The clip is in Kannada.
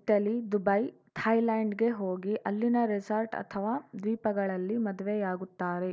ಇಟಲಿ ದುಬೈ ಥಾಯ್ಲೆಂಡ್‌ಗೆ ಹೋಗಿ ಅಲ್ಲಿನ ರೆಸಾರ್ಟ್‌ ಅಥವಾ ದ್ವೀಪಗಳಲ್ಲಿ ಮದುವೆಯಾಗುತ್ತಾರೆ